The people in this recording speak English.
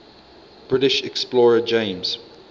british explorer james